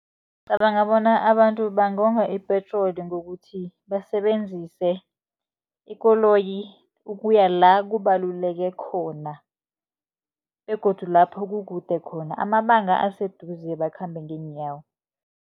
Ngicabanga bona abantu bangonga ipetroli, ngokuthi basebenzise ikoloyi ukuya la kubaluleke khona begodu lapho kukude khona. Amabanga aseduze bakhambe ngeenyawo.